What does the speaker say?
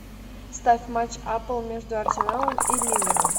ставь матч апл между арсеналом и ливером